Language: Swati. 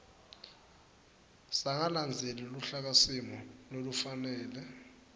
sangalandzeli luhlakasimo lolufanele